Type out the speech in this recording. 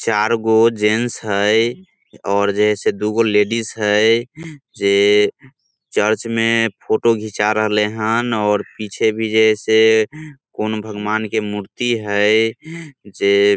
चार गो जेंट्स हेय और जे से दूगो लेडिस हेय | जे चर्च में फोटो घीचा रहले हन और पीछे भी जे छै से कौन भगवन के मूर्ति हेय जे --